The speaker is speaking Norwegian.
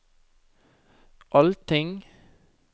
allting